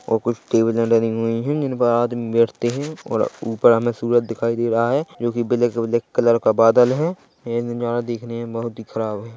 ओर कुछ टेबलें लगी हुई है जिनपर आदमी बैठते है और ऊपर हमें सूरज दिखाई दे रहा है जोकि ब्लैक - ब्लैक कलर का बादल है ये नज़ारा देखने में बहुत ही खराब हैं।